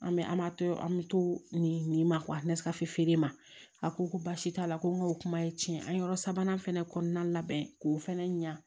An bɛ an ma to an bɛ to nin nin na feere ma a ko ko baasi t'a la ko n ka o kuma ye tiɲɛ an ye yɔrɔ sabanan fana kɔnɔna labɛn k'o fana ɲa